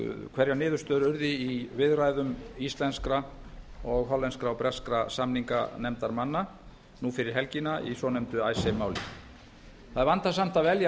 hverjar niðurstöður urðu í viðræðum íslenskra og hollenskra og breskra samninganefndarmanna nú fyrir helgina í svonefndu icesave máli það er vandasamt að velja